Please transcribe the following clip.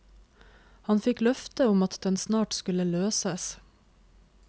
Han fikk løfte om at den snart skulle løses.